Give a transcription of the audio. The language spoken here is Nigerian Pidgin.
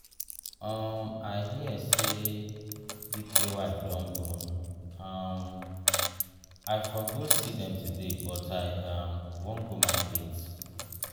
um i hear say dike wife don born. um i for go see dem today but i um wan go market.